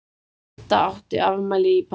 Didda átti afmæli í París.